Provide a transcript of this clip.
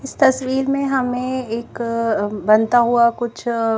इस तस्वीर में हमे एक अ बनता हुआ कुछ--